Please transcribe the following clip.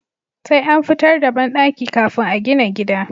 Sai an fitar da banɗaki kafin a gina gida